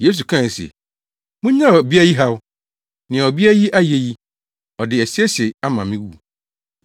Yesu kae se, “Munnyaa ɔbea yi haw! Nea ɔbea yi ayɛ yi, ɔde asiesie me ama me wu.